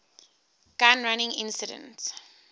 gun running incident